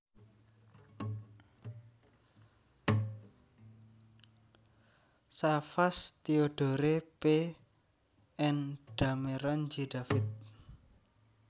Savas Theodore P and Dameron J David